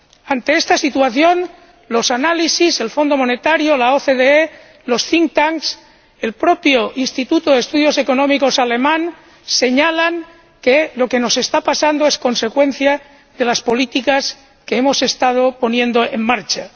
Ante esta situación, los análisis, el Fondo Monetario, la OCDE, los think tanks el propio Instituto de Estudios Económicos alemán señalan que lo que nos está pasando es consecuencia de las políticas que hemos estado poniendo en marcha.